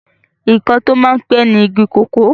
ǹkan tí ó máa ń pẹ́ ni igi kòkó